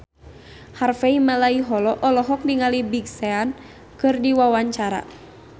Harvey Malaiholo olohok ningali Big Sean keur diwawancara